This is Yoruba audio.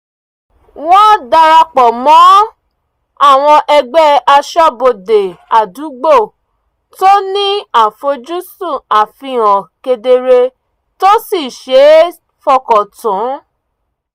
wọ́n darapọ̀ mọ́ ẹgbẹ́ aṣọ́bodè àdúgbò tó ní àfoj́sùn àfihàn kedere tó sì ṣe é fọkàn tán